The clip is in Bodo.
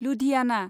लुधियाना